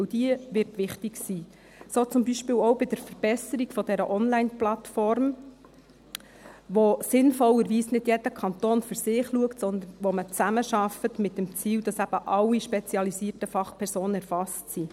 Denn diese wird wichtig sein, so zum Beispiel auch bei der Verbesserung der Onlineplattform, bei der sinnvollerweise nicht jeder Kanton für sich schaut, sondern bei der man zusammenarbeitet, mit dem Ziel, dass eben alle spezialisierten Fachpersonen erfasst sind.